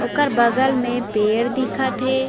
ओकर बगल में पेड़ दिखत हे।